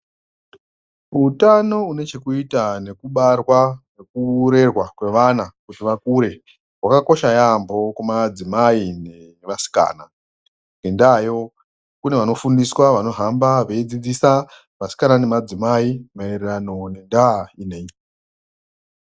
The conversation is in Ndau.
Utano hune chekuita nekubarwa nekurerwa kwevana kuti vakure hwakakosha yaampho kumadzimai nevasikana. Ngendaayo kune vanofundiswa vanohamba veifundisa vasikana nemadzimai maererano ngendaa ineyi.